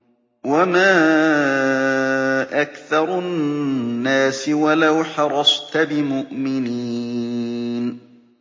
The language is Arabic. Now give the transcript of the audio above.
وَمَا أَكْثَرُ النَّاسِ وَلَوْ حَرَصْتَ بِمُؤْمِنِينَ